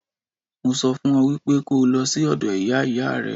Mo sọ fún ọ wípé kó o lọ sí ọ̀dọ̀ Ìyá Ìyá rẹ.